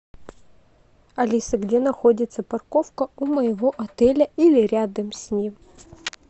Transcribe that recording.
алиса где находится парковка у моего отеля или рядом с ним